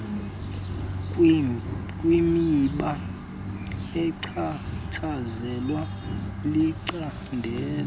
kwimiba echatshazelwa licandelo